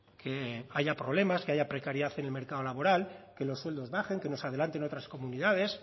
que haya problemas que haya precariedad en el mercado laboral que los sueldos bajen que nos adelanten otras comunidades